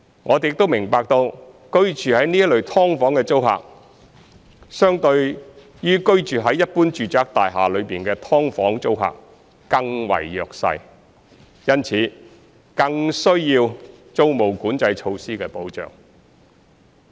我們亦明白居住在這類"劏房"的租客，相對於居住在一般住宅大廈內的"劏房"的租客更為弱勢，因此更需要租務管制措施的保障。